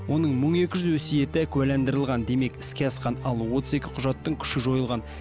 оның мың екі жүзі өсиеті куәландырылған демек іске асқан ал отыз екі құжаттың күші жойылған